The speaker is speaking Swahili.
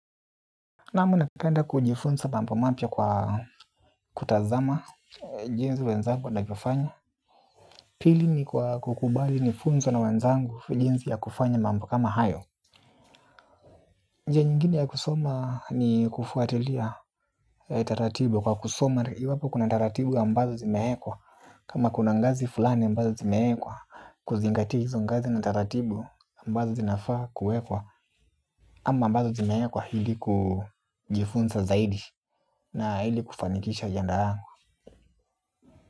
Naam napenda kujifunza mambo mapya kwa kutazama jinsi wenzangu wanavyofanya. Pili ni kwa kukubali nifunzwe na wenzangu jinsi ya kufanya mambo kama hayo. Njia nyingine ya kusoma ni kufuatilia ya taratibu. Kwa kusoma iwapo kuna taratibu ambazo zimewekwa kama kuna ngazi fulani ambazo zimewekwa kuzingatia hizo ngazi na taratibu ambazo zinafaa kuwekwa. Ama ambazo zimewekwa ili kujifunza zaidi na ili kufanikisha ajenda yangu.